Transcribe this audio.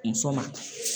Muso ma